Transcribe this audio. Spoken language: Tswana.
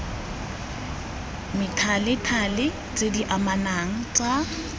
methalethale tse di anamang tsa